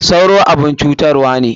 Sauro abun cutarwa ne.